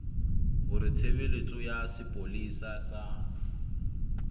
hore tshebeletso ya sepolesa sa